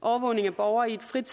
overvågning af borgere i et frit